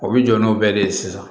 O bɛ jɔ n'o bɛɛ de ye sisan